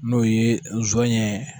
N'o ye zɔnɲɛ.